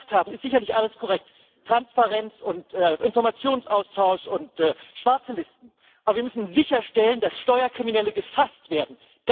Was Sie gesagt haben, ist sicherlich alles korrekt Transparenz und Informationsaustausch und schwarze Listen aber wir müssen sicherstellen, dass Steuerkriminelle gefasst werden!